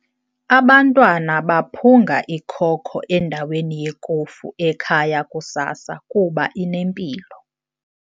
Abantwana baphunga ikoko endaweni yekofu ekhaya kusasa kuba inempilo.